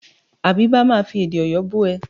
Àbíbá máa fi èdè Ọ̀yọ́ bú ẹ.